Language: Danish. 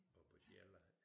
Og på Sjælland